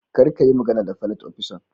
kar kayi magana da filot opisan.